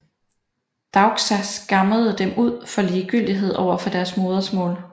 Daukša skammede dem ud for ligegyldighed over for deres modersmål